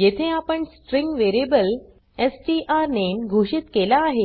येथे आपण string variable strname घोषित केला आहे